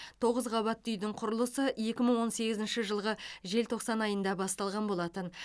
тоғыз қабатты үйдің құрылысы екі мың он сегізінші жылғы желтоқсан айында басталған болатын